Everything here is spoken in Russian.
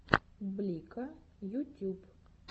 блико ютюб